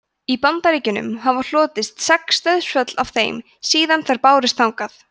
í bandaríkjunum hafa hlotist sex dauðsföll af þeim síðan þær bárust þangað